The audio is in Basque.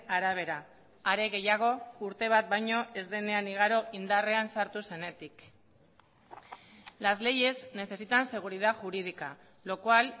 arabera are gehiago urte bat baino ez denean igaro indarrean sartu zenetik las leyes necesitan seguridad jurídica lo cual